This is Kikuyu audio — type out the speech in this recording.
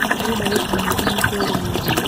Ndĩrenda gũkinya hakuhĩ mabũrũri mothe